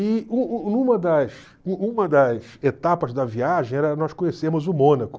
E u u uma das u uma das etapas da viagem era nós conhecermos o Mônaco.